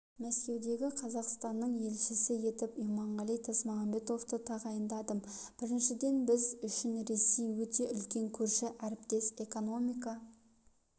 мәскеудегі қазақстанның елшісі етіп иманғали тасмағамбетовты тағайындадым біріншіден біз үшін ресей өте үлкен көрші әріптес экономика